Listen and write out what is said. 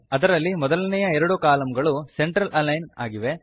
ಅದರಲ್ಲಿ ಮೊದಲನೆಯ ಎರಡು ಕಾಲಂಗಳು ಸೆಂಟರ್ ಅಲಿಗ್ನ್ ಆಗಿವೆ